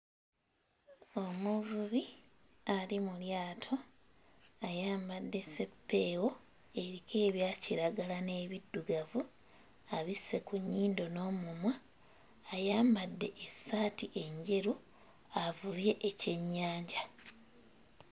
Omuvubi ali mu lyato ayambadde seppeewo eriko ebya kiragala n'ebiddugavu abisse ku nnyindo n'omumwa ayambadde essaati enjeru avubye ekyennyanja.